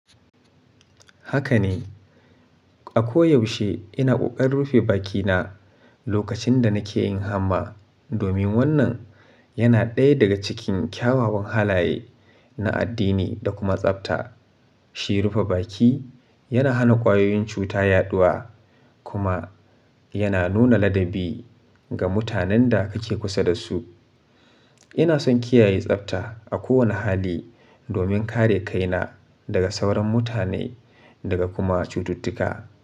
Haka ne, a koyaushe ina ƙoƙarin rufe bakina lokacin da nake yin hamma domin wannan yana ɗaya daga cikin kyawawan halaye na addini da kuma tsabta. Shi rufe baki yana hana ƙwayoyin cuta yaɗuwa kuma yana nuna ladabi ga mutanen da kake kusa da su. Ina son kiyaye tsabta a kowane hali domin kare kaina daga sauran mutane daga kuma cututtuka.